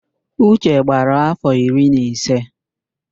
Uche gbara áfọ̀ iri na ise.